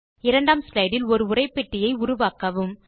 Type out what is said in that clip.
2 ஆம் ஸ்லைடு இல் ஒரு உரைப்பெட்டியை உருவாக்கவும்